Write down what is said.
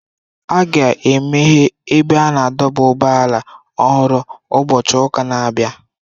A ga-emeghe ebe a na-adọba ụgbọala ọhụrụ ụbọchị ụka na-abịa.